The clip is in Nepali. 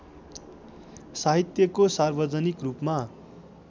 साहित्यको सार्वजनिक रूपमा